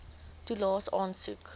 toelaes aansoek